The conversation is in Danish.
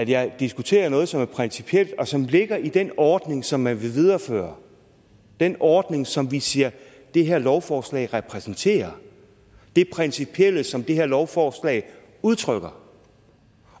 jeg diskuterer noget som er principielt og som ligger i den ordning som man vil videreføre den ordning som vi siger at det her lovforslag repræsenterer det principielle som det her lovforslag udtrykker